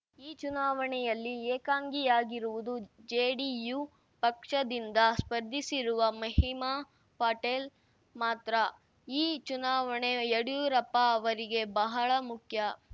ಈ ಚುನಾವಣೆಯಲ್ಲಿ ಏಕಾಂಗಿಯಾಗಿರುವುದು ಜೆಡಿಯು ಪಕ್ಷದಿಂದ ಸ್ಪರ್ಧಿಸಿರುವ ಮಹಿಮಾ ಪಟೇಲ್‌ ಮಾತ್ರ ಈ ಚುನಾವಣೆ ಯಡಿಯೂರಪ್ಪ ಅವರಿಗೆ ಬಹಳ ಮುಖ್ಯ